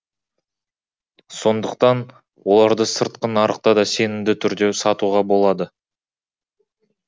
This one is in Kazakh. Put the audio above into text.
сондықтан оларды сыртқы нарықта да сенімді түрде сатуға болады